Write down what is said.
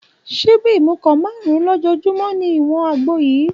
Ṣíbí ìmùkọ márùn-ún lójoojúmọ́ ni ìwọ̀n àgbo yìí